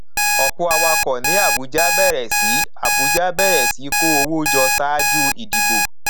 ọpọ awakọ ní abuja bẹrẹ sí abuja bẹrẹ sí kó owó jọ ṣáájú ìdìbò